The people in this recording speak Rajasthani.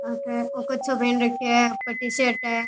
अठे ओ कच्छो पहन राखयो है ऊपर टी शर्ट है।